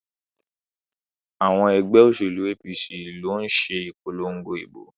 Àwọn ẹgbẹ́ òṣèlú APC ló ń ṣe ìpolongo ìbò.